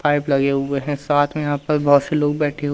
pipe लगे हुए है साथ में यहां पर बहोत से लोग बैठे--